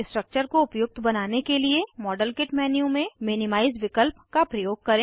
structure को उपयुक्त बनाने के लिए मॉडलकिट मेन्यू में मिनिमाइज़ विकल्प का प्रयोग करें